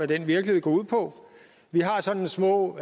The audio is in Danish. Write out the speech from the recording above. den virkelighed går ud på vi har sådan små